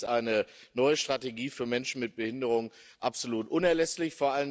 Deswegen ist eine neue Strategie für Menschen mit Behinderung absolut unerlässlich.